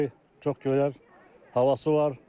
Çox gözəl havası var.